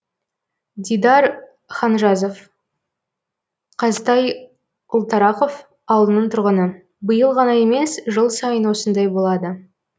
дидар ханжазов қазтай ұлтарақов ауылының тұрғыны биыл ғана емес жыл сайын осындай болады